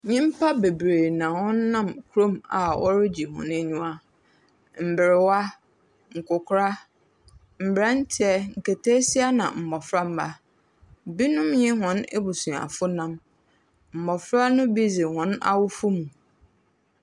Nnyimpa bebree na wɔnam kurom a wɔregye hɔn anyiwa. Mberwa, nkwakora, mbrantse, nketeesia na mboframba. Bi nye hɔn abusuafonam. Mmofra no bi dze hɔn awofo mu.